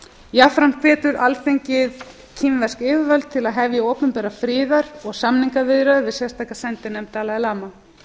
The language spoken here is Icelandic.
jafnframt hvetur alþingi kínversk yfirvöld til að hefja opinberar friðar og samningsviðræður við sérstaka sendinefnd dalai lama